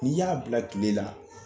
N'i y'a bila kile la